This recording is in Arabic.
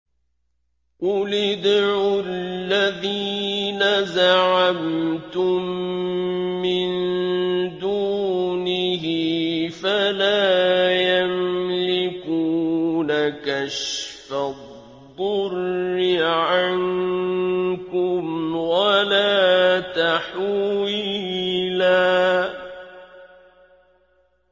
قُلِ ادْعُوا الَّذِينَ زَعَمْتُم مِّن دُونِهِ فَلَا يَمْلِكُونَ كَشْفَ الضُّرِّ عَنكُمْ وَلَا تَحْوِيلًا